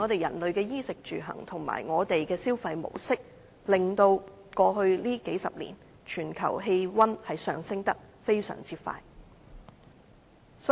人類在衣食住行的習慣，以及我們的消費模式，令全球氣溫在過去數十年上升得非常快。